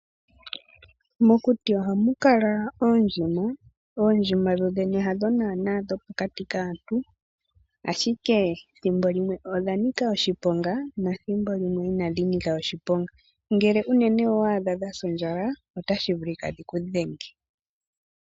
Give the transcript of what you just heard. Mokuti ohamu kala oondjima. Oondjima dho dhene hadho naaana dhopokati kaantu ashike thimbo limwe odha nika oshiponga nethimbo limwe inashi nika oshiponga. Ngele unene owa adha sa ondjala otashi vulika dhi ku dhenge.